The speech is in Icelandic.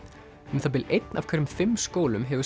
um það bil einn af hverjum fimm skólum hefur